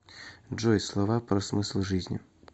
джой слова про смысл жизни